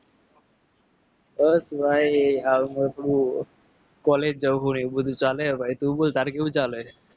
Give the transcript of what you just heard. બસ ભાઈ આવ હતું. college ચાલે તું બોલ તારે શું ચાલે?